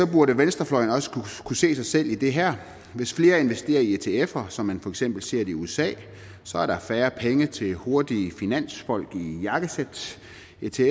burde venstrefløjen også kunne se sig selv i det her hvis flere investerer i etfer som man for eksempel ser det i usa så er der færre penge til hurtige finansfolk i jakkesæt